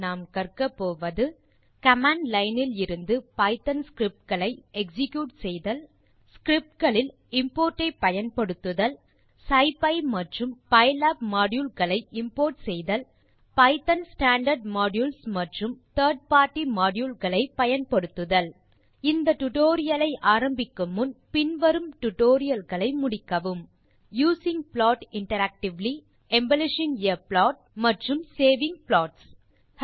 இந்த டுடோரியலின் முடிவில் செய்யக்கூடியது கமாண்ட் லைன் இலிருந்து பைத்தோன் ஸ்கிரிப்ட்ஸ் களை எக்ஸிக்யூட் செய்வது ஸ்கிரிப்ட் களில் இம்போர்ட் ஐ பயன்படுத்துதல் சிப்பி மற்றும் பைலாப் மாடியூல் களை இம்போர்ட் செய்தல் பைத்தோன் ஸ்டாண்டார்ட் மாடியூல்ஸ் மற்றும் 3ர்ட் பார்ட்டி மாடியூல் களை பயன்படுத்துதல் இந்த டியூட்டோரியல் ஐ ஆரம்பிக்கும் முன் using plot interactively embellishing a plot மற்றும் சேவிங் ப்ளாட்ஸ் டுடோரியல்களை முடிக்கவும்